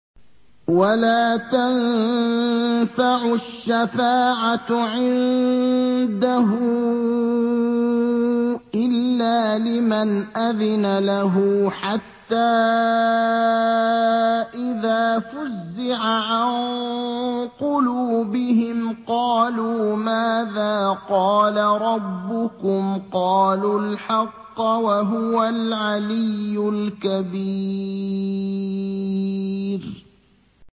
وَلَا تَنفَعُ الشَّفَاعَةُ عِندَهُ إِلَّا لِمَنْ أَذِنَ لَهُ ۚ حَتَّىٰ إِذَا فُزِّعَ عَن قُلُوبِهِمْ قَالُوا مَاذَا قَالَ رَبُّكُمْ ۖ قَالُوا الْحَقَّ ۖ وَهُوَ الْعَلِيُّ الْكَبِيرُ